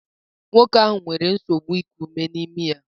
Nwoke ahụ nwere nsogbu iku ume na imi ya.